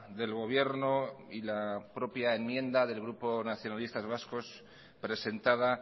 del gobierno y la propia enmienda del grupo nacionalistas vascos presentada